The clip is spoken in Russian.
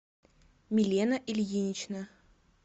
милена ильинична